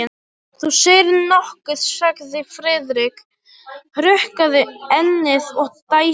Þú segir nokkuð, sagði Friðrik, hrukkaði ennið og dæsti.